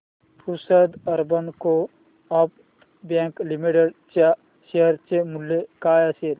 Pusad urban coop bank limited च्या share चे मूल्य काय असेल